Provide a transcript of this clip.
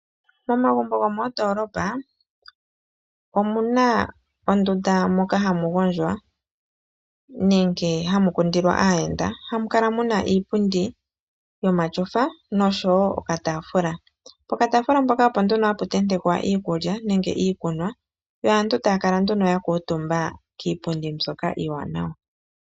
Momagumbo gomoondolopa omuna ondunda moka hamu gondjwa nenge hamu kundilwa aayenda, ha mukala muna iipundi yomashofa nosho wo okataafula. Poka taafula mpoka opo nduno hapu tentekwa iikulya nenge iikunwa, yo aantu taya kala nduno ya kuutumba kiipundi mbyoka iiwanawa.